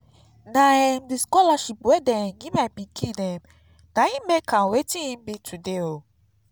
na um the scholarship dey give my pikin um na im make am wetin e be today